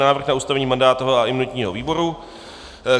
Návrh na ustavení mandátového a imunitního výboru